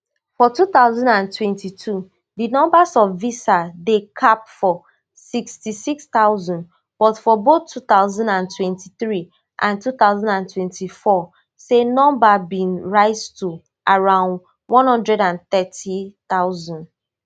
for two thousand and twenty-two di number of visas dey capped for sixty-six thousand but for both two thousand and twenty-three and two thousand and twenty-four say number bin rise to around one hundred and thirty thousand